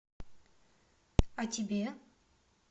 а тебе